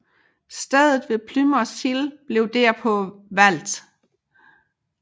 Stedet ved Plymoth Hill blev derpå valgt